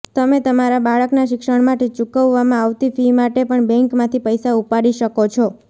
તમે તમારા બાળકનાં શિક્ષણ માટે ચુકવવામાં આવતી ફી માટે પણ બેંકમાંથી પૈસા ઉપાડી શકો છો